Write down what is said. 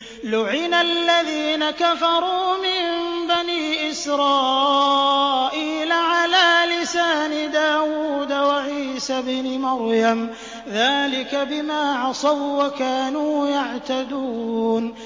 لُعِنَ الَّذِينَ كَفَرُوا مِن بَنِي إِسْرَائِيلَ عَلَىٰ لِسَانِ دَاوُودَ وَعِيسَى ابْنِ مَرْيَمَ ۚ ذَٰلِكَ بِمَا عَصَوا وَّكَانُوا يَعْتَدُونَ